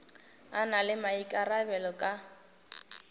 a na le maikarabelo ka